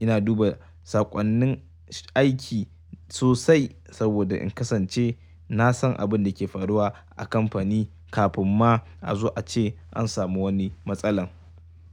Ina duba saƙonnin aiki sosai saboda in kasance na san abin da ke faruwa a kamfani kafin ma a zo a ce an samu wani matsala.